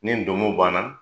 Ni ndomo banna.